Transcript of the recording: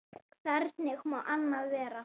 Hvernig má annað vera?